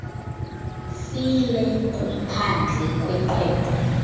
file kumphandle weqweqwe